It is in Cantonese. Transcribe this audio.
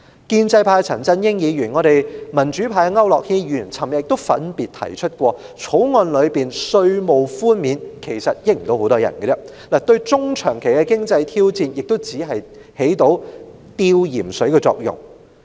建制派的陳振英議員和我們民主派的區諾軒議員昨天亦分別指出，其實《條例草案》賦予的稅務寬免，根本沒有太多人可以受惠，對於香港的中長期經濟挑戰亦只能起到輕微的紓緩作用。